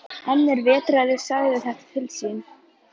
En er vetraði sagði þetta til sín.